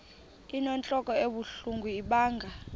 inentlok ebuhlungu ibanga